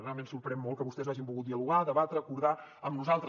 realment sorprèn molt que vostès no hagin volgut dialogar debatre acordar amb nosaltres